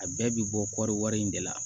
A bɛɛ bɛ bɔ kɔɔri wari in de la